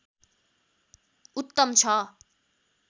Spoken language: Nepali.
उत्तम छ